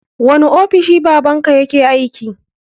Wani ofishi baban ka yake aiki?